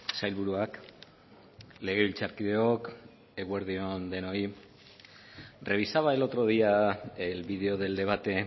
sailburuak legebiltzarkideok eguerdi on denoi revisaba el otro día el video del debate